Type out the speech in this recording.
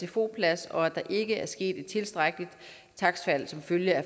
sfo plads og at der ikke er sket et tilstrækkeligt takstfald som følge af